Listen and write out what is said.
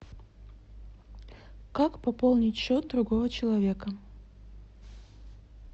как пополнить счет другого человека